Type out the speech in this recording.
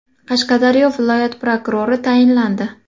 Qashqadaryo viloyati prokurori tayinlandi.